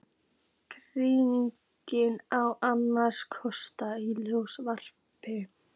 Kíkir á annarra kossa í sjónvarpi.